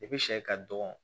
I bi sɛ ka dɔgɔ